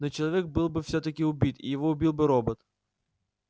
но человек был бы всё-таки убит и его убил бы робот